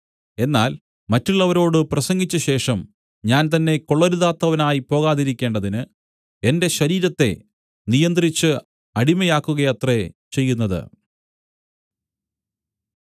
എന്നാൽ മറ്റുള്ളവരോട് പ്രസംഗിച്ചശേഷം ഞാൻ തന്നെ കൊള്ളരുതാത്തവനായി പോകാതിരിക്കേണ്ടതിന് എന്റെ ശരീരത്തെ നിയന്ത്രിച്ച് അടിമയാക്കുകയത്രേ ചെയ്യുന്നത്